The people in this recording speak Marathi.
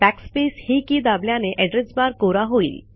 बॅकस्पेस ही की दाबल्याने एड्रेस बार कोरा होईल